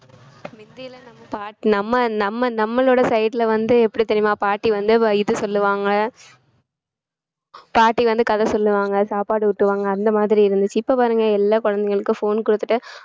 முந்தி எல்லாம் நம்ம பாட்~ நம்ம நம்ம நம்மளோட side ல வந்து எப்படி தெரியுமா பாட்டி வந்து வ~ இது சொல்லுவாங்க பாட்டி வந்து கதை சொல்லுவாங்க சாப்பாடு ஊட்டுவாங்க அந்த மாதிரி இருந்துச்சு இப்ப பாருங்க எல்லா குழந்தைகளுக்கும் phone கொடுத்துட்டு